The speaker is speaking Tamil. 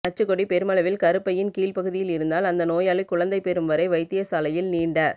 நச்சுக்கொடி பெருமளவில் கருப்பையின் கீழ் பகுதியில் இருந்தால் அந்த நோயாளி குழந்தை பெறும் வரை வைத்திய சாலையில் நீண்ட